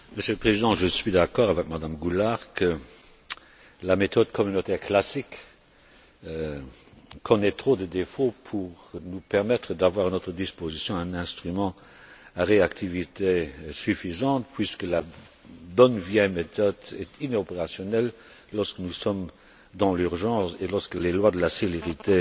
Monsieur le Président, je suis d'accord avec Mme Goulard pour dire que la méthode communautaire classique connaît trop de défauts pour nous permettre d'avoir à notre disposition un instrument à réactivité suffisante, puisque la bonne vieille méthode est inopérationnelle lorsque nous sommes dans l'urgence, et lorsque les lois de la célérité